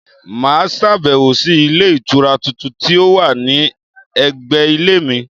Mà á sàbẹ̀wò sí Ilé Ìtura tuntun tí ó wà ní ẹ̀gbẹ̀ Ilé mi